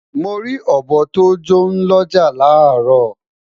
Mori obo to jọ n l'ọja laro